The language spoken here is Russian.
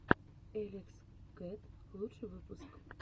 элекс кэт лучший выпуск